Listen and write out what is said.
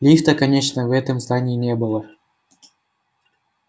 лифта конечно в этом здании не было